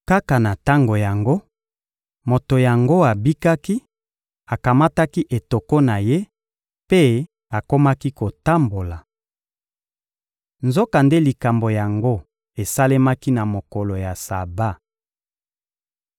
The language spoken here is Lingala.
Kaka na tango yango, moto yango abikaki; akamataki etoko na ye mpe akomaki kotambola. Nzokande likambo yango esalemaki na mokolo ya Saba.